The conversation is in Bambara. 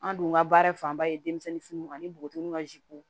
An dun ka baara fanba ye denmisɛnninw ani bogotiginiw ka